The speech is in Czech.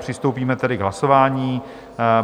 Přistoupíme tedy k hlasování.